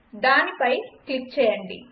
దానిపై క్లిక్ చేయండి